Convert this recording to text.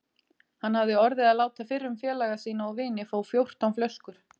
Hann hafði orðið að láta fyrrum félaga sína og vini fá fjórtán flöskur.